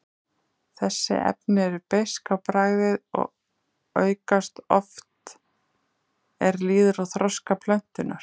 Þessi efni eru beisk á bragðið og aukast oft er líður á þroska plöntunnar.